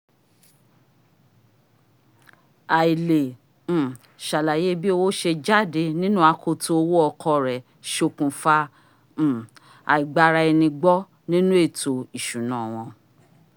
àìle um ṣàlàyé bí owó ṣe jáde nínú akoto owọ́ ọkọ rẹ̀ sokùnfa um àìgbara-ẹni-gbọ́ nínú ẹ̀tò ìsúná wọn